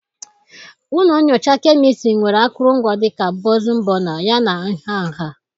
Ụlọ nyocha kemịstrị nwere akụrụngwa dị ka bọnsịn bọna, yana nha nha.